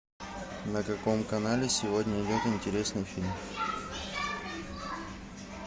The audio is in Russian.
на каком канале сегодня идет интересный фильм